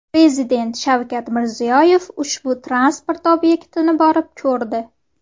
Prezident Shavkat Mirziyoyev ushbu transport obyektini borib ko‘rdi.